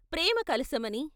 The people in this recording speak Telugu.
'' ప్రేమ కలశ ' మని...